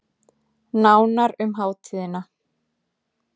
Nánar um hátíðina